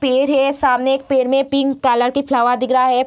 पेड़ है सामने एक पेड़ मे पिंक कलर के फ्लावर दिख रहा है।